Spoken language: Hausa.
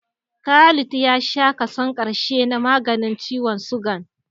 Khalid ya sha kason ƙarshe na maganin ciwon sugan